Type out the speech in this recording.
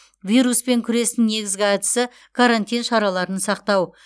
вируспен күрестің негізгі әдісі карантин шараларын сақтау